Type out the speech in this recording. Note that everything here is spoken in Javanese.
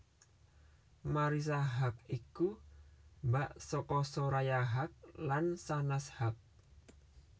Marissa Haque iku mbak saka Soraya Haque lan Shahnaz Haque